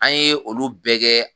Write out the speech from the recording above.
An ye olu bɛɛ kɛ